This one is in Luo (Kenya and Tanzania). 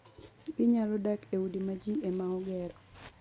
Ginyalo dak e udi ma ji ema ogero.